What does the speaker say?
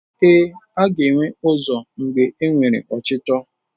Ee, a ga-enwe ụzọ mgbe enwere ọchịchọ.